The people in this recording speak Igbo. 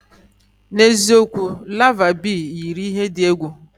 N'eziokwu? Larvae Bee yiri ihe dị egwu.